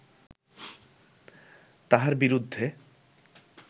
তাঁহার বিরুদ্ধে